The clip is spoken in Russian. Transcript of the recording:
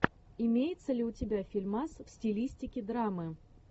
имеется ли у тебя фильмас в стилистике драмы